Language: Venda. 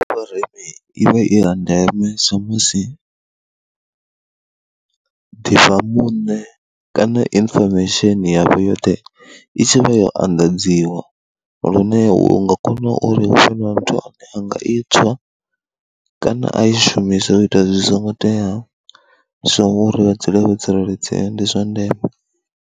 Ndi vhona uri i vha i ya ndeme, sa musi ḓi fha muṋe kana information yavho yoṱhe i tshi vha yo anḓadziwa lune u nga kona uri hu vhe na muthu ane a nga i tswa kana a i shumisa u ita zwi songo teaho, so uri vha dzule vho tsireledzea ndi zwa ndeme.